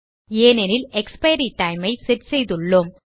ஏனென்றால் expiry time ஐ set செய்துள்ளோம்